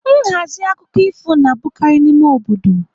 Nhazi akụkọ ifo na-abụkarị n'ime obodo.